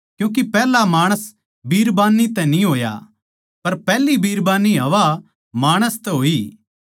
क्यूँके पैहला माणस बिरबान्नी तै न्ही होया पर पैहली बिरबान्नी हव्वा माणस तै होई